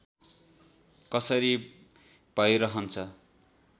कसरी भैरहन्छ